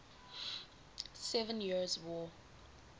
seven years war